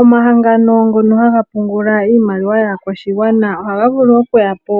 Omahangano ngono haga pungula iimaliwa yaakwashigwana ohaga vulu okuyapo